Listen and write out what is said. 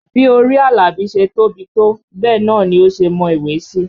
Bí orí Àlàbí ṣe tóbi tó bẹ́ẹ̀ náà ni ó ṣe mọ ìwé sí